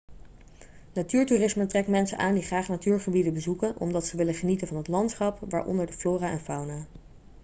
natuurtoerisme trekt mensen aan die graag natuurgebieden bezoeken omdat ze willen genieten van het landschap waaronder de flora en fauna